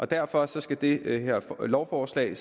derfor skal det her lovforslag